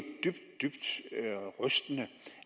dybt dybt rystende